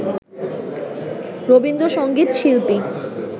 রবীন্দ্র সঙ্গীত শিল্পী